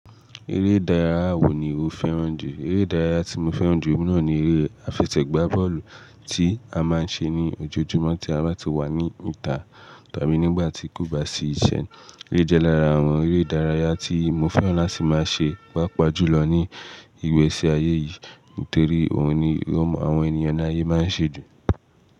Eré ìdárayá wo ni o fẹ́ràn jù? Eré ìdárayá tí mo fẹ́ràn jù ní náà ni eré àfesẹ̀gbá bọ́ọ̀lù tí a máa ń ṣe ní ojoojúmọ́ tí a bá ti wà ní ìta tàbí nígbà tí kò bá sí ìṣẹ̀. Eré jẹ́ lára àwọn eré ìdárayá tí mo fẹ́ràn láti máa ṣe papajùlọ ní ìgbesì ayé yìí, nítorí ohun ni àwọn ènìyàn ni ayé máa ń ṣe ju.